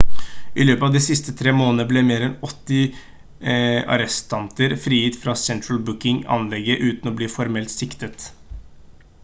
i løpet av de siste tre månedene ble mer enn 80 arrestanter frigitt fra central booking-anlegget uten å bli formelt siktet